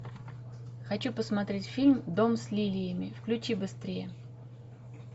хочу посмотреть фильм дом с лилиями включи быстрее